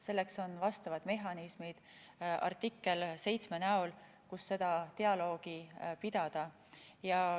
Selleks on vastavad mehhanismid artikkel 7 näol, kus seda dialoogi pidada.